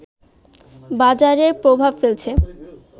বাজারে প্রভাব ফেলছে